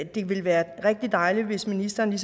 det ville være rigtig dejligt hvis ministeren